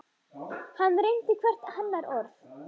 Hann reyndi hvert hennar orð.